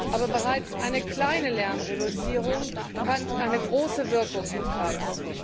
Aber bereits eine kleine Lärmreduzierung kann eine große Wirkung entfalten.